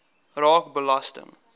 raak belasting